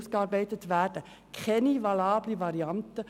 Dies ist für uns keine valable Variante.